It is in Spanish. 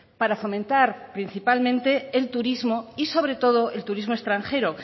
para fomentar principalmente el turismo y sobre todo el turismo extranjero